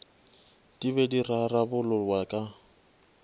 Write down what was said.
di be di rarabololwa ka